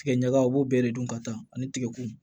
Tigɛ ɲaga a b'o bɛɛ de dun ka taa ani tigɛkun